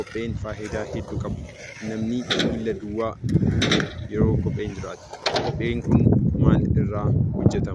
Kopheen faayidaa hedduu qaba namni luka duwwaa hin deemu yoo kopheen jiraate.